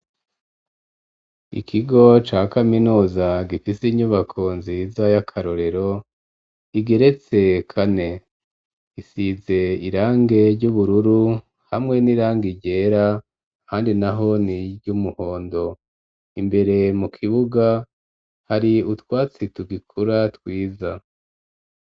Ikigo ca kaminuza gifise inyubako nziza y'akarorero igeretse kane, isize irangi ry'ubururu hamwe n'irangi ryera, ahandi naho ni ry'umuhondo, imbere mu kibuga hari utwatsi tugikura twiza.